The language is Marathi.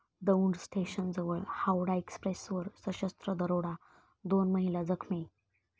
दौंड स्टेशनजवळ हावडा एक्स्प्रेसवर सशस्त्र दरोडा, दोन महिला जखमी